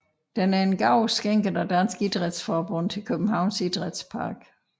Den er en gave skænket af Dansk Idrætsforbund til Københavns Idrætspark